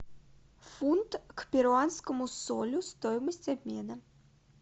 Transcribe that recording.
фунт к перуанскому солю стоимость обмена